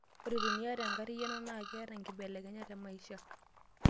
ore teniata enkarriyiano naa keeta enkibelekenyat te maisha